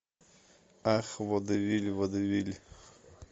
ах водевиль водевиль